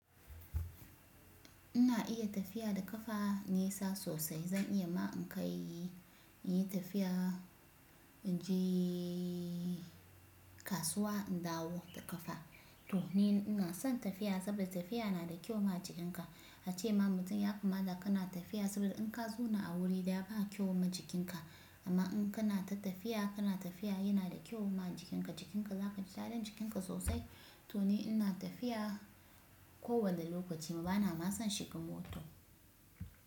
Ina iya tafiya da kafa nesa sosai. Zan iya ma in kai, in yi tafiya, inje kasuwa in dawo da kafa. To ni ina son tafiya saboda tafiya na da kyau ma jikinka. Ace ma mutum ya kamata kana tafiya saboda in ka zauna a wuri daya ba kyau ma jikinka. Amma in kana ta tafiya, kana tafiya yana da kyau ma jikinka. Jikinka za kai gyaran jikinka sosai. To ni ina tafiya kowane lokaci. Bana ma son shiga mota.